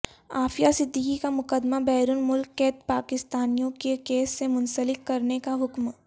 عافیہ صدیقی کا مقدمہ بیرون ملک قید پاکستانیوں کے کیس سے منسلک کرنیکا حکم